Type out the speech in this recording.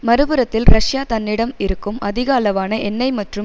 மறுபுறத்தில் ரஷ்யா தன்னிடம் இருக்கும் அதிக அளவான எண்ணெய் மற்றும்